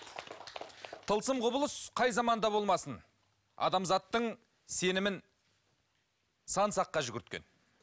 тылсым құбылыс қай заманда болмасын адамзаттың сенімін сан саққа жүгірткен